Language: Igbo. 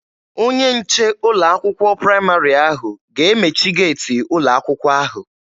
Onye nche ụlọ akwụkwọ praịmarị ahụ ga-emechi geeti ụlọ akwụkwọ ahụ.